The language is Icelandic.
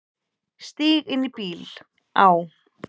Stíg inn í bíl, á.